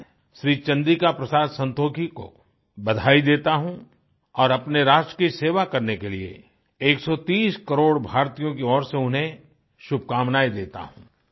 मैं श्री चंद्रिका प्रसाद संतोखी को बधाई देता हूँ और अपने राष्ट्र की सेवा करने के लिए 130 करोड़ भारतीयों की ओर से उन्हें शुभकामनायें देता हूँ